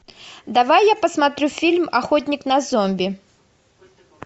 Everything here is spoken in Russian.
давай я посмотрю фильм охотник на зомби